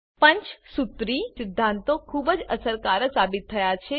પંચ્સુત્રી સિદ્ધાંતો ખૂબ જ અસરકારક સાબિત થયા છે